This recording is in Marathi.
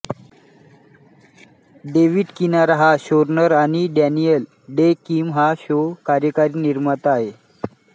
डेव्हिड किनारा हा शोरनर आणि डॅनियल डे किम हा शो कार्यकारी निर्माता आहे